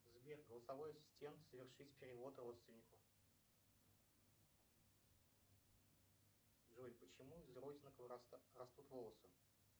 сбер голосовой ассистент совершить перевод родственнику джой почему из родинок растут волосы